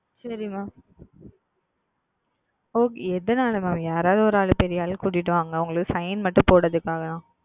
சரி Mam எதாவது ஓர் ஆள் யாராவது ஓர் ஆள் பெரிய ஆள் மட்டும் அழைத்து கொண்டு வாருங்கள் அவர்கள் Sign மட்டும் போடுவதற்காக